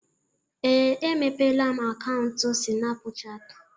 Ee, emepeela m akaụntụ Sịnapụchatị.